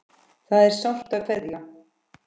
Það er sárt að kveðja.